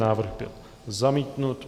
Návrh byl zamítnut.